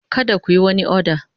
Kada ku yi wani oda!